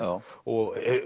og